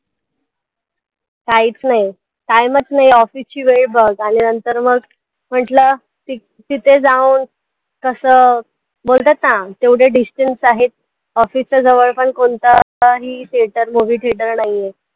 काहीच नाही time चं नाही time चं नाही office ची वेळ बघ आणि नंतर मग म्हंटलं ति तिथे जाऊन कसं बोलतात ना तेवढे distance आहे, office च्या जवळ कोणतंही theatre movie theatre नाहीये, काहीच नाहीये.